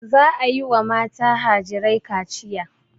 Za a yi wa mata harijai kaciya.